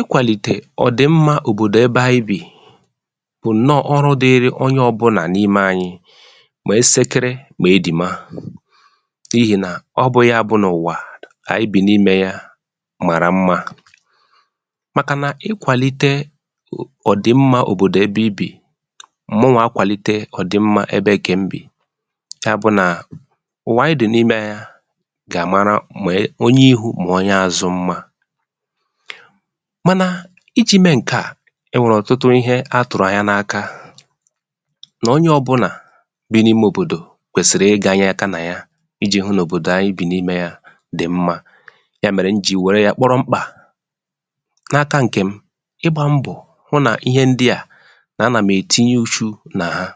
ikwàlìtè òdị̀mmā òbòdò ebe anyị bị̀, bụ̀ ǹnọọ̄ ọrụ dịrị onye ọbụnà n’ime anyị, mà ẹsẹkẹrẹ, mà edìma, n’ihì nà ọ bụ̄ ya bụ nà ụ̀wà anyị bì n’imē ya màrà mmā, màkà na ịkwàlite òdị̀mmā òbòdò ebe ị bì, mụwā akwàlite òdị̀mmā ebe ǹkè m bị̀, ya bụ nà ụ̀wà anyị nọ̀ n’imē ya gà à mara mà onye ihū, mà onye azụ mmā. mànà I jī mẹ ǹkẹ à, ẹ nwẹ̀rẹ̀ ọ̀tụtụ ịhẹ a tụ̀rụ̀ anya n’aka, nà onye ọbụnà bi n’ime òbòdò kwẹsịrị ị gānyẹ aka nà ya, I jī hụ nà òbòdò anyị bì n’imē ya dị̀ mmā. yà mẹ̀rẹ m jì wẹ̀rẹ ya kpọrọ mkpà, n’aka ǹkè m, ịgbā mbọ̀, hụ nà ihe ndị à, nà a nà m ètinye ùchu nà ha.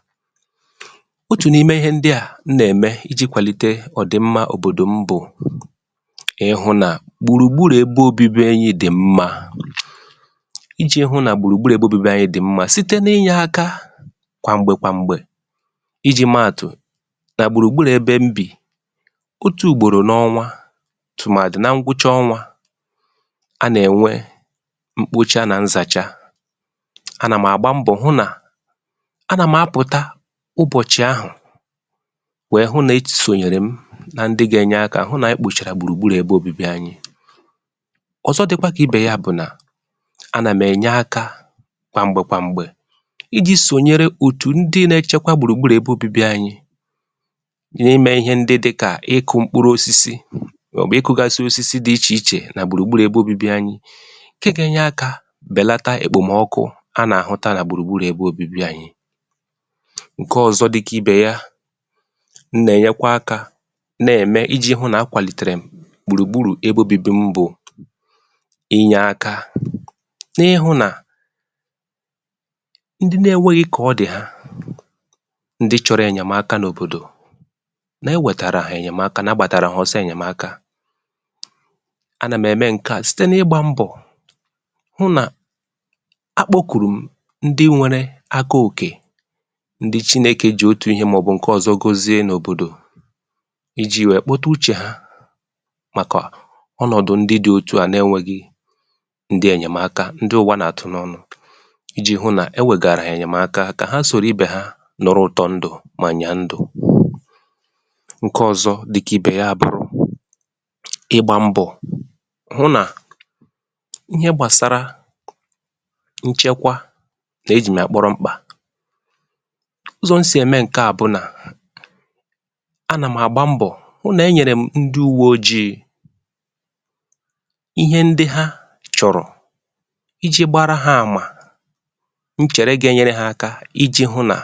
otù n’ime ndị à m nà ẹ̀mẹ, ijī kwàlite òdị̀mmā òbòdò m bụ̀, I hụ̄ nà gbùrù gburu ebe obibi anyị dị̀ mmā. ijī hụ̄ nà gbùrù gburu ebe obibi anyị dị̀ mmā, site n’ịnyẹ aka, kwà m̀gbè kwà m̀gbè. ijī mẹ àtụ̀, nà gbùrù gburù ẹbẹ m bì, otū ùgbòrò n’ọnwa, tụ̀màdị na ngwụcha ọnwā, a nà ènwe mkpocha nà nzàcha. a nà m àgba mbọ̀ hụ nà a nà m apụ̀ta ụbọ̀chị̀ ahụ, wẹ hụ nà e sònyèrè m nan dị ga ẹnyẹ ak̄ hụ nà e kpòchà gbùrù gburù ẹbẹ obībi anyị. ọ̀zọ dịkwa kà ibè ya bụ̀ nà, a nà m̀ ẹ̀nyẹ akā kwà m̀gbè kwà m̀gbè, ijī sònyẹrẹ òtù ndị na ẹchẹkwa gbùrù gburu anyị n aị mẹ ịhẹ ndị dị kà I kụ mkpụrụ osisi mà ọ̀ bụ ị kụ̄gasị osisi dị ichè ichè nà gbùrù gburù ẹbẹ obibi anyị, ǹke ga enye aka bèlata òkpòmọkụ a nà àhụ nà gbùrù gburu ẹbẹ obibi anyị. ǹkẹ ọzọ dị kà ibè ya, m nà ẹ̀nyẹkwa aka nà ẹ̀mẹ ijī hụ nà akwàlìtè m gbùrù gburù ẹbẹ obibi m bụ̀ ịnyẹ aka, n’ịhụ̄ nà ndị na enweghi kà ọ dị̀ ha, ndị chọrọ ẹ̀nyẹ̀maka n’òbòdò, nà ẹ nwẹtàrà hà ẹ̀nyẹmaka, nà a gbàtàrà hà ọsọ ẹ̀nyẹ̀maka. a nà m ẹ̀mẹ ǹkẹ à site n’ịgbā mbọ̀, hụ nà akpōkùrù m ndị nwẹrẹ aka òkè, ndị Chinēke jì otù ihe mà ọ̀ bụ̀ ịhẹ ǹkẹ ọ̀zọ gọzie n’òbòdò, ijī wẹ kpọtẹ uchè ha, màkà ọnọ̀dụ̀ ndị dị ntụ à na ẹnwẹghị̄ ẹ̀nyẹ̀maka, ndị ụ̀wa nà àtụ n’ọnụ̄, ijī hụ nà ẹwẹ̀gàrà hà ẹ̀nyẹ̀maka, kà ha sòro ibè ha nụrụ ụ̀tọ ndụ̀, mà ọ̀ ànyà a ndụ̀. ǹkẹ ọzọ dị kà ibè ya bụrụ, ịgbā mbọ̀, hụ nà ihe gbàsara nchẹkwa, nà e jì m yà kpọrọ mkpà. ụzọ̀ m sì ẹ̀mẹ ǹkẹ à bụ̀ nà, a nà m àgba mbọ̀ hụ nà ẹ nyẹ̀rè m ndị ùwe ojiī ihe ndị ha chọ̀rọ̀, ijī gbara ha àmà, nchẹ̀rẹ ga ẹnyẹrẹ ha aka, ijī hụ nà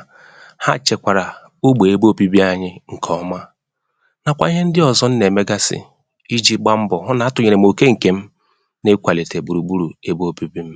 ha chẹ̀kwàrà ogbè ẹbẹ obibi anyị ǹkẹ̀ ọma, nàkwà ịhẹ ndị ọzọ m nà ẹ̀mẹgasị ijī gba mbọd, hụ nà atụ̀nyẹ̀rè m òke ǹkẹ̀ m n’ịkwàlìtè gbùrù gburù ebe obibi m.